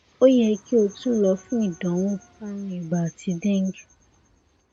o yẹ ki o tun lọ fun idanwo arun iba ati dengue